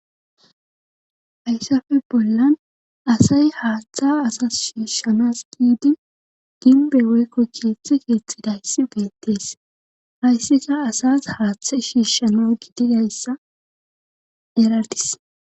hayssafe bollan asay haaththa asas shiishshanas giidi ginbe woykko kieththi keeththidayssi beettees hayssika asas haaththa shiishana gididayssa eradis